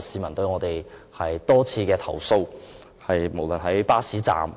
市民多次投訴，無論在巴士站